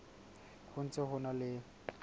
ho ntse ho na le